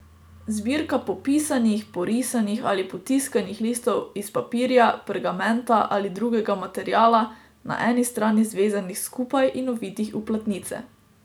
Zbirka popisanih, porisanih ali potiskanih listov iz papirja, pergamenta ali drugega materiala, na eni strani zvezanih skupaj in ovitih v platnice.